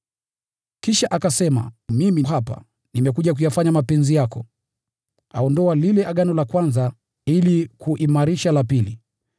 Kisha akasema “Mimi hapa, nimekuja kuyafanya mapenzi yako.” Aondoa lile Agano la kwanza ili kuimarisha la pili.